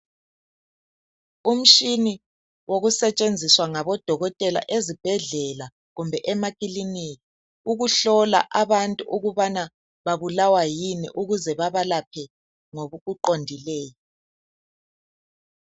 Umtshina osetshenziswa ngodokotela ezibhedlela, kumbe emakilinika ukuhlola abantu ukuba babu lawa yini ukuze babelaphe lowo mkhuhlane.